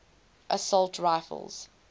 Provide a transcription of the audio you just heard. assault rifles